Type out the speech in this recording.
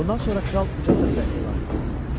Bundan sonra kral uca səslə elan etdi: